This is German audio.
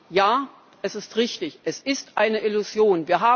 Ja, es ist richtig Es ist eine Illusion.